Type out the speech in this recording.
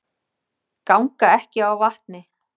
Ganga ekki á vatni